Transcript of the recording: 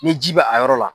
Ni ji bɛ a yɔrɔ la